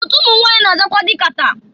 Otu ụmụnwanyị na-azakwa dị kata.